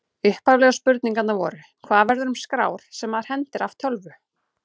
Upphaflegu spurningarnar voru: Hvað verður um skrár sem maður hendir af tölvu?